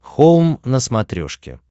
хоум на смотрешке